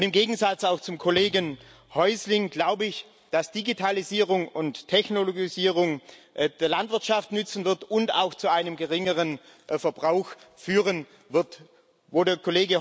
Und im Gegensatz zum Kollegen Häusling glaube ich, dass Digitalisierung und Technologisierung der Landwirtschaft nützen und auch zu einem geringeren Verbrauch führen werden.